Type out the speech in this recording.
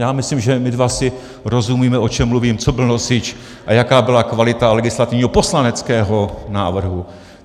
Já myslím, že my dva si rozumíme, o čem mluvím, co byl nosič a jaká byla kvalita legislativního - poslaneckého! - návrhu.